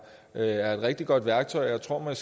er et rigtig godt værktøj og jeg tror at